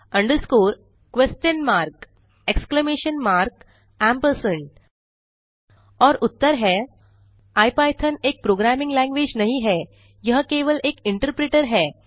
under score question mark exclamation mark ampersand A M P और उत्तर हैं इपिथॉन एक प्रोग्रामिंग लैंग्वेज नहीं है यह केवल एक इंटरप्रेटर है